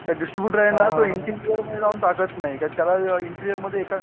distributor आहे ना तो हिंदी जाऊन टाकत नाही कारण त्याला इंजिनेर मध्ये एका